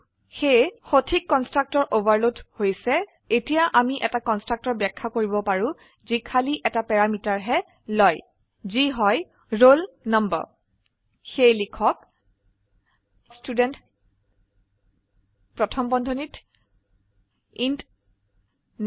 সেয়ে সঠিক constructor overload হৈছে এতিয়া আমি এটা কন্সট্ৰাকটৰ ব্যাখ্যা কৰিব পাৰো যি খালি এটা প্যাৰামিটাৰহে লয় যি হয় ৰোল নাম্বাৰ সেয়ে লিখক ষ্টুডেণ্ট প্ৰথম বন্ধনীত ইণ্ট নুম